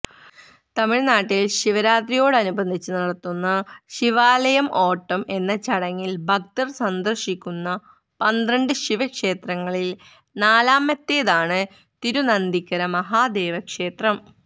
തമിഴ്നാട്ടിൽ ശിവരാത്രിയോടനുബന്ധിച്ച് നടത്തുന്ന ശിവാലയം ഓട്ടം എന്ന ചടങ്ങിൽ ഭക്തർ സന്ദർശിക്കുന്ന പന്ത്രണ്ട് ശിവക്ഷേത്രങ്ങളിൽ നാലാമത്തേതാണ് തിരുനന്തിക്കര മഹാദേവക്ഷേത്രം